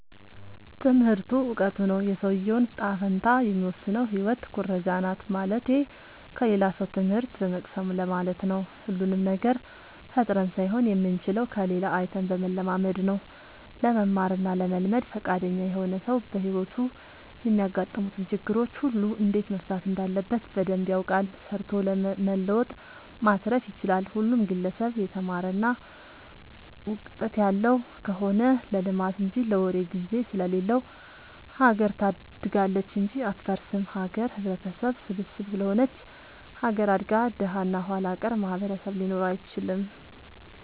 ትምህርቱ እውቀቱ ነው። የሰውዬውን ጣፈንታ የሚወስነው ህይወት ኩረጃናት ማለትቴ ከሌላ ሰው ትምህት በመቅሰም ለማለት ነው። ሁሉንም ነገር ፈጥረን ሳይሆን የምንችለው ከሌላ አይተን በመለማመድ ነው። ለመማር እና ለመልመድ ፍቃደኛ የሆነ ሰው በህይወቱ የሚያጋጥሙትን ችግሮች ሁሉ እንዴት መፍታት እንዳለበት በደንብ ያውቃል ሰርቶ መለወጥ ማትረፍ ይችላል። ሁሉም ግለሰብ የተማረ እና ውቀጥት ያለው ከሆነ ለልማት እንጂ ለወሬ ግዜ ስለሌለው ሀገር ታድጋለች እንጂ አትፈርስም። ሀገር ህብረተሰብ ስብስብ ስለሆነች ሀገር አድጋ ደሀ እና ኋላቀር ማህበረሰብ ሊኖር አይችልም።